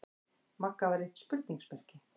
Magga var eitt spurningarmerki.